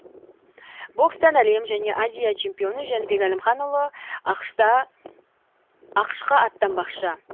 бокстан әлем және азия чемпионы жәнібек әлімханұлы ақш қа аттанбақшы